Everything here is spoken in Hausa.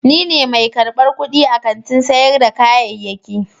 Ni ne mai karbar kudi a kantin sayar da kayayyaki.